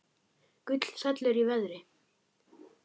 Gull fellur í verði